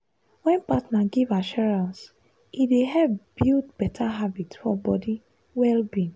wen partner give assurance e dey help build better habit for body well-being.